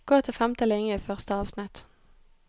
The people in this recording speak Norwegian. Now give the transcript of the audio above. Gå til femte linje i første avsnitt